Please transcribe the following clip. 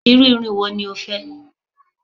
Iru irun wo ni o fẹ?